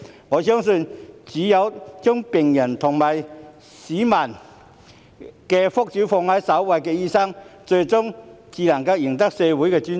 我相信，只有將病人及市民的福祉放在首位的醫生，最終才會贏得社會的尊重。